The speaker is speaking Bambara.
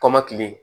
Kɔmɔkili